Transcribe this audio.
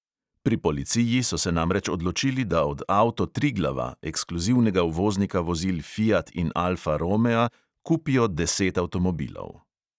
Pri policiji so se namreč odločili, da od avto triglava, ekskluzivnega uvoznika vozil fiat in alfa romea, kupijo deset avtomobilov.